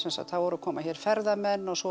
það voru að koma hér ferðamenn og svo